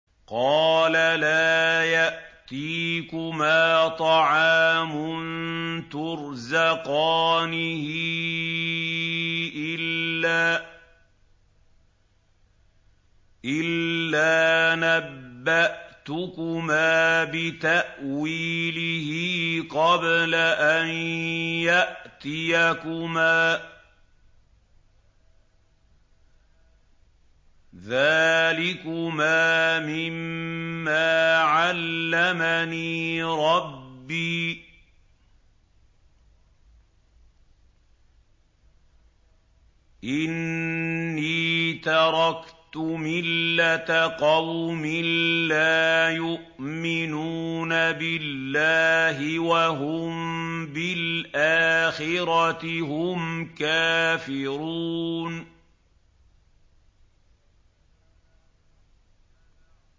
قَالَ لَا يَأْتِيكُمَا طَعَامٌ تُرْزَقَانِهِ إِلَّا نَبَّأْتُكُمَا بِتَأْوِيلِهِ قَبْلَ أَن يَأْتِيَكُمَا ۚ ذَٰلِكُمَا مِمَّا عَلَّمَنِي رَبِّي ۚ إِنِّي تَرَكْتُ مِلَّةَ قَوْمٍ لَّا يُؤْمِنُونَ بِاللَّهِ وَهُم بِالْآخِرَةِ هُمْ كَافِرُونَ